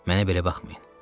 Mənə belə baxmayın.